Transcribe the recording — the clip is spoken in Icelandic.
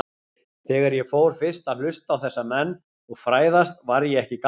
Þegar ég fór fyrst að hlusta á þessa menn og fræðast var ég ekki gamall.